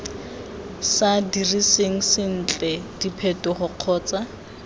sa diriseng sentle diphetogo kgotsa